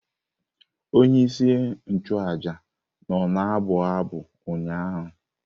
Onye isi nchụaja nọ na-abụ abụ ụnyaahụ.